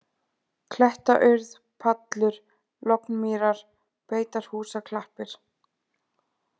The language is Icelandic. Klettaurð, Pallur, Lognmýrar, Beitarhúsaklappir